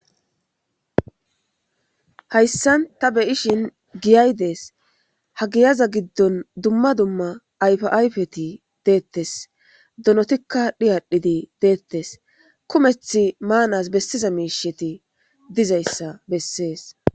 Hayssan ta beyishin giyay dees ha giyaza giddon dumma dumma aypayfeti deettes donotikka dhiyadhidi deettes kumeth maanas bessiza miisheti dizayssa bessees